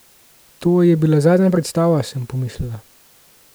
To je bila zadnja predstava, sem pomislila.